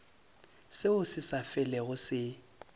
seo se sa felego se